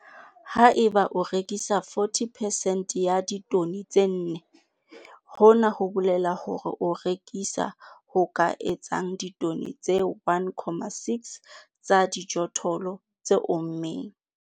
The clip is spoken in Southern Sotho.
Ha eba o rekisa 40 percent ya ditone tse nne, hona ho bolela hore o rekisa ho ka etsang ditone tse 1, 6 tsa dijothollo tse ommeng.